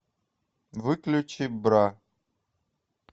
выключи бра